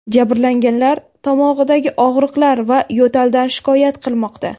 Jabrlanganlar tomog‘idagi og‘riqlar va yo‘taldan shikoyat qilmoqda.